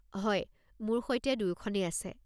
হয়, মোৰ সৈতে দুয়োখনেই আছে।